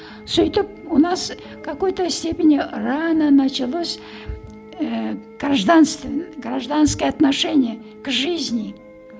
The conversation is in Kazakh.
сөйтіп у нас какой то степени рано началось ііі гражданское отношение к жизни